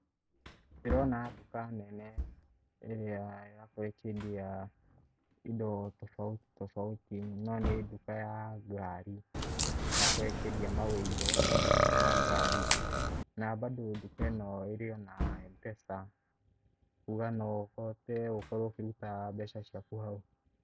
Ndĩrona nduka nene ĩrĩa ya kwendia indo tofauti tofauti. Na nĩ nduka ya ngari, ĩrakorwo ĩkĩendia maũiro ma ngari. Na bado nduka ĩno ĩrĩ o na M-Pesa, kuga no ũhote gũkorwo ũkĩruta mbeca ciaku hau.